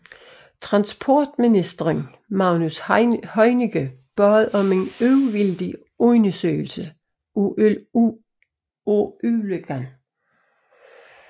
Transportministeren Magnus Heunicke bad om en uvildig undersøgelse af ulykken